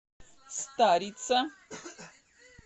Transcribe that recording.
старица